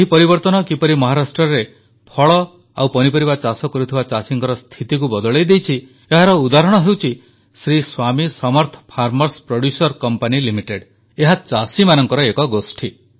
ଏହି ପରିବର୍ତ୍ତନ କିପରି ମହାରାଷ୍ଟ୍ରରେ ଫଳ ଓ ପନିପରିବା ଚାଷ କରୁଥିବା ଚାଷୀଙ୍କର ସ୍ଥିତିକୁ ବଦଳାଇ ଦେଇଛି ଏହାର ଉଦାହରଣ ହେଉଚି ଶ୍ରୀ ସ୍ୱାମୀ ସମର୍ଥ farmerଏସ୍ ପ୍ରୋଡ୍ୟୁସର କମ୍ପାନି ଲିମିଟେଡ୍ ଏହା ଚାଷୀମାନଙ୍କର ଏକ ଗୋଷ୍ଠୀ